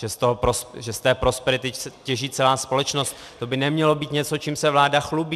Že z té prosperity těží celá společnost, to by nemělo být něco, čím se vláda chlubí.